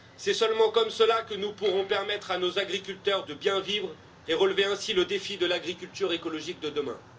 C'est seulement comme cela que nous pourrons permettre à nos agriculteurs de bien vivre et relever ainsi le défi de l'agriculture écologique de demain.